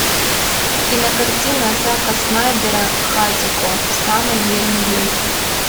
кинокартина зака снайдера хатико самый верный друг